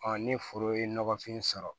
ni foro ye nɔgɔfin sɔrɔ